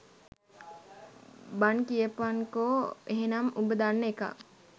බන් කියපන්කො එහෙනම් උඹ දන්න එකක්